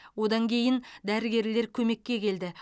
одан кейін дәрігерлер көмекке келді